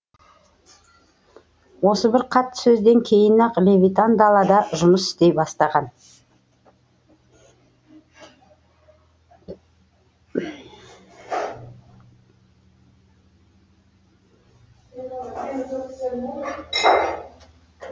осы бір қатты сөзден кейін ақ левитан далада жұмыс істей бастаған